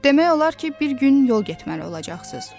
Demək olar ki, bir gün yol getməli olacaqsınız.